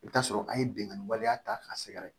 I bɛ t'a sɔrɔ an ye bingani waleya ta k'a sɛgɛrɛ